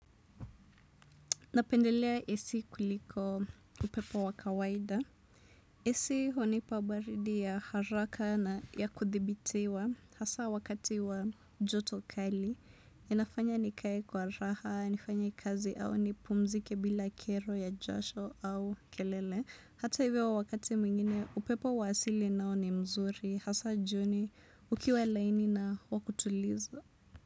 Napendelea AC kuliko upepo wakawaida. AC hunipa baridi ya haraka na ya kuthibitiwa hasa wakati wa jotokali. Inafanya nikaye kwa raha, nifanya kazi au nipumzike bila kero ya jasho au kelele. Hata hivyo wakati mwingine upepo waasili nao ni mzuri hasa jioni ukiwa laini na wakutuliza.